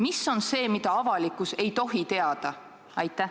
Mis on see, mida avalikkus ei tohi teada?